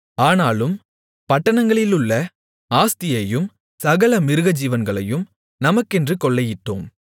ஆனாலும் பட்டணங்களிலுள்ள ஆஸ்தியையும் சகல மிருகஜீவன்களையும் நமக்கென்று கொள்ளையிட்டோம்